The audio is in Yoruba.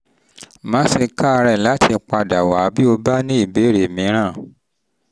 má ṣe káàárẹ̀ láti padà wá bí o bá ní ìbéèrè mìíràn